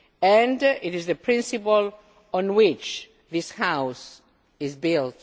And it is the principle on which this House is built.